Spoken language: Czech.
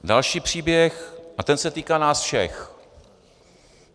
Další příběh, a ten se týká nás všech.